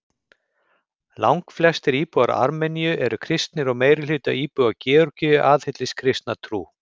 Langflestir íbúar Armeníu eru kristnir og meirihluti íbúa Georgíu aðhyllist kristna trú.